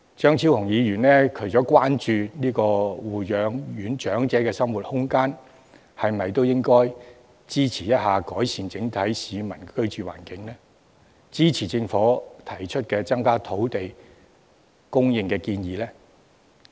張超雄議員除了關注護養院長者的生活空間，是否也應該支持改善市民整體的居住環境、支持政府提出增加土地供應的建議？